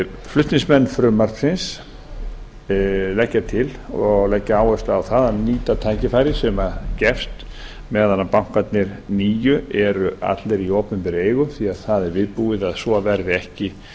flutningsmenn frumvarpsins leggja til og leggja áherslu á það að nýta tækifærið sem gefst meðan bankarnir nýju eru allir í opinberri eigu því að það er viðbúið að svo verði ekki